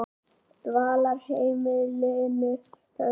Dvalarheimilinu Höfða